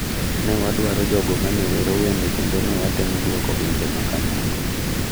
"""Ne wadwaro jogo ma ne wero wende kendo ne watemo dwoko wende ma kamago."